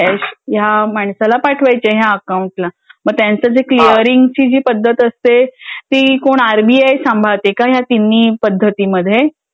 Cash या माणसाला पाठवायचे आहे. या अकाउंट ला मग त्याच जे किलयरिंगची जी पद्धत असते. ती मग आर्मिआर सांभाडते का या तिन्ही पद्धती मध्ये